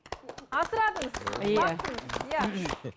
асырадыңыз иә бақтыңыз иә